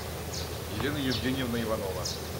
елена евгеньевна иванова